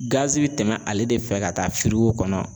Gazi bɛ tɛmɛ ale de fɛ ka taa kɔnɔ